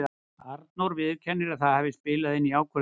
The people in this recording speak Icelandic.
Arnór viðurkennir að það hafi spilað inn í ákvörðunina.